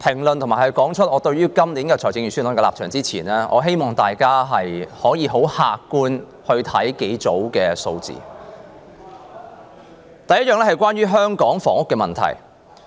在講述我對今年財政預算案的立場之前，我希望大家很客觀地看幾組數字：第一，是關於香港房屋問題。